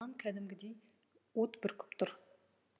кәдімгідей от бүркіп тұр